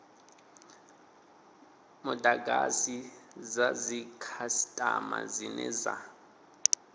mudagasi dza dzikhasitama dzine dza